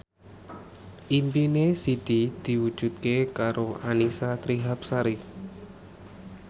impine Siti diwujudke karo Annisa Trihapsari